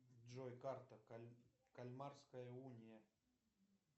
джой карта кальмарская уния